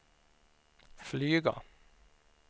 flyga